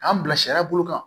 K'an bila sariya bolo kan